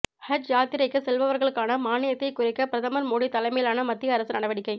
ஹஜ் யாத்திரைக்கு செல்பவர்களுக்கான மானியத்தை குறைக்க பிரதமர் மோடி தலைமையிலான மத்திய அரசு நடவடிக்கை